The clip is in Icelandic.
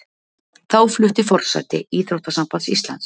Þá flutti forseti Íþróttasambands Íslands